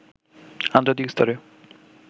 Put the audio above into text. আন্তর্জাতিক স্তরে